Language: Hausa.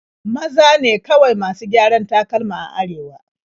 Maza ne kawai masu gyaran takalma a Arewa.